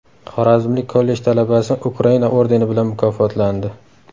Xorazmlik kollej talabasi Ukraina ordeni bilan mukofotlandi.